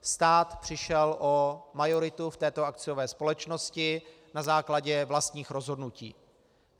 Stát přišel o majoritu v této akciové společnosti na základě vlastních rozhodnutí.